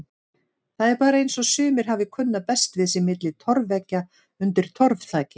Það er bara eins og sumir hafi kunnað best við sig milli torfveggja undir torfþaki.